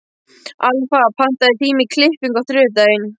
Alfa, pantaðu tíma í klippingu á þriðjudaginn.